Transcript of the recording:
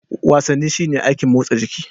Wasanni shine aikin motsa jiki.